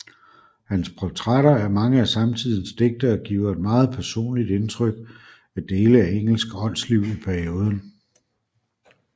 Hans portrætter af mange af samtidens digtere giver et meget personligt indtryk af dele af engelsk åndsliv i perioden